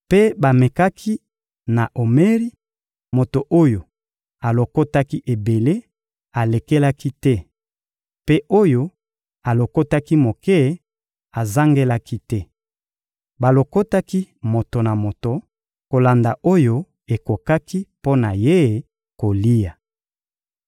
Mpe bamekaki na omeri: moto oyo alokotaki ebele, alekelaki te; mpe oyo alokotaki moke, azangelaki te. Balokotaki moto na moto kolanda oyo ekokaki mpo na ye kolia.